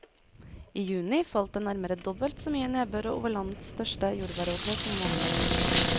I juni falt det nærmere dobbelt så mye nedbør over landets største jordbæråkre som vanlig.